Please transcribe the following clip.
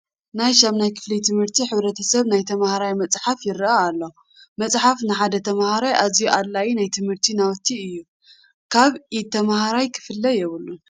ናይ ሻምናይ ክፍሊ ትምህርቲ ሕብረተሰብ ናይ ተምሃራይ መፅሓፍ ይርአ ኣሎ፡፡ መፅሓፍ ንሓደ ተመሃራይ ኣዝዩ ኣድላዪ ናይ ትምህርቲ ናውቲ እዩ፡፡ ካብ ኢድ ተመሃራይ ክፍለ የብሉን፡፡